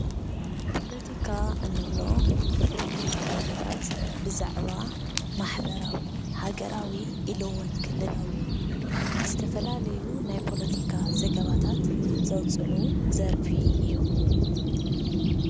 ፖለቲካ እንብሎ ፖለቲከኛታት ብዛዕባ ማሕበራዊ፣ ሃገራዊ ኢሉ እውን ክልላዊ ዝተፈላለዩ ናይ ፖሊቲካ ዘገባታት ዘውፅእሉ ዘርፊ እዩ።